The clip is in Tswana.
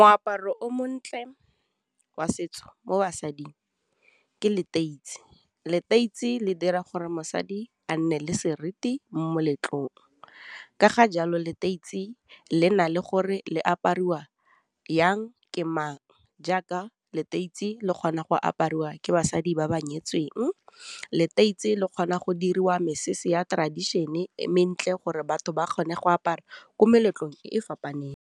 Moaparo o montle wa setso mo basading ke leteisi. Leteisi le dira gore mosadi a nne le seriti mo moletlong, ka ga jalo leteisi le na le gore le apariwa yang, ke mang, jaaka leteisi le kgona go apariwa ke basadi ba ba nyetsweng, leteisi le kgona go diriwa mesese ya tradition-e mentle gore batho ba kgone go apara ko meletlong e e fapaneng.